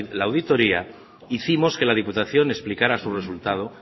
la auditoría hicimos que la diputación explicara su resultado